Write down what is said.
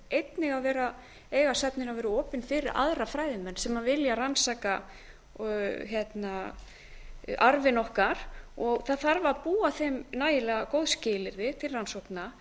einnig eiga söfnin að vera opin fyrir aðra fræðimenn sem vilja rannsaka arfinn okkar það þarf að búa þeim nægilega góð skilyrði til rannsókna